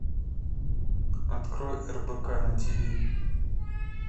открой рбк на тв